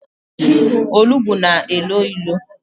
Olugbu na-elo ilo.